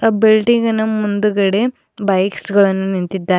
ಆ ಬಿಲ್ಡಿಂಗಿನ ಮುಂದುಗಡೆ ಬೈಕ್ಸ್ ಗಳನ್ನು ನಿಂತಿದ್ದಾ--